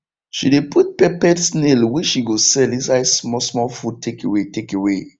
she de put peppered snail wey she go sell inside small small food takeaway takeaway